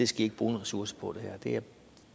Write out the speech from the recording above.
skal i ikke bruge ressourcer på